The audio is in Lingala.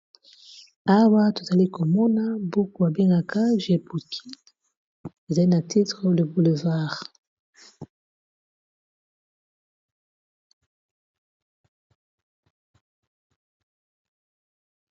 Awa tozali komona buku abengaka jpouki ezali na titre le boulevard